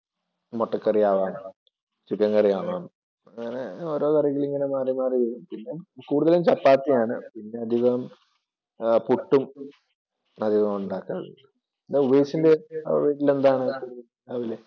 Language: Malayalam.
മുട്ടക്കറി ആവാം ചിക്കൻ കറി ആവാം അങ്ങനെ കറികളിങ്ങനെ മാറി മാറിയിരിക്കും. കൂടുതലും ചപ്പാത്തിയാണ് പിന്നെ അധികം പുട്ടും പതിവായുണ്ടാക്കാറുണ്ട്. ഉമേഷിൻ്റെ വീട്ടിൽ എന്താണ് രാവിലെ?